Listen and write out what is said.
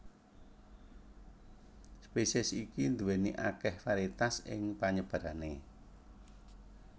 Spesies iki nduwèni akeh varietas ing panyebarane